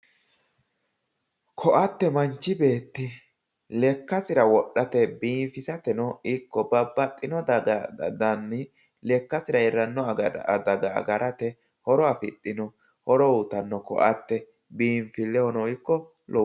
Koatte manchi beetti lekkasirano wodhate biifisateno ikko baabaxino danni lekkasira iillnno adaga agarate horo afidhino. horo uuyiitanno koatte biinfillehono ikko..